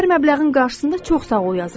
Hər məbləğin qarşısında çox sağ ol yazıram.